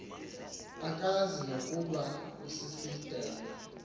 akazi nokuba usisidenge